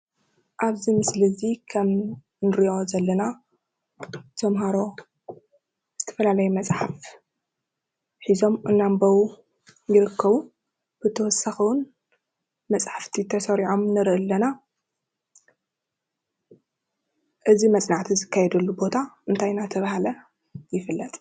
አብዚ ምስሊ እዚ ከም እንሪኦ ዘለና ተምሃሮ ዝተፈላለየ መፅሓፍ ሒዞም እናንበቡ ይርከቡ። ብተወሳኪ እውን መፅሕፍቲ ተሰሪዖም ንሪኢ አለና እዚ መፅናዕቲ ዝከየደሉ ቦታ እንታይ እናተባህለ ይፍለጥ?